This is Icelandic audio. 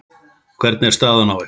Hvernig er staðan á ykkur?